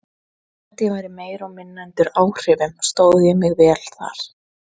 Þótt ég væri meira og minna undir áhrifum stóð ég mig vel þar.